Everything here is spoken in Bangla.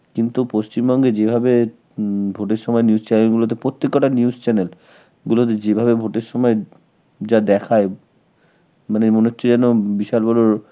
কিন্তু পশ্চিমবঙ্গে যেভাবে হম vote এর সময় news channel গুলোতে, প্রত্যেক কথা news channel গুলোতে যেভাবে vote এর সময় যা দেখায়, মানে মনে হচ্ছে জানো হম বিশাল বড়